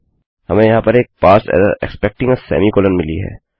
हमें यहाँ पर एक parse error expecting a semicolon मिली है